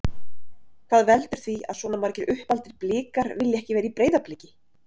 Hvað veldur því að svona margir uppaldir Blikar vilja ekki vera í Breiðabliki?